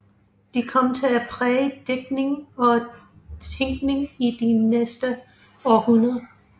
De kom til at præge digtning og tænkning i de næste århundreder